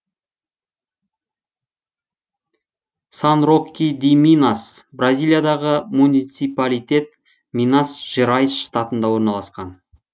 сан роки ди минас бразилиядағы муниципалитет минас жерайс штатында орналасқан